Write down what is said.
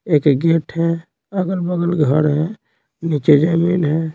एक गेट है अगल-बगल घर है नीचे जमीन है।